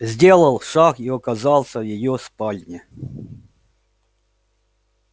сделал шаг и оказался в её спальне